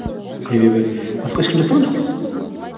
себебі басқа ешкім жасаған жоқ қой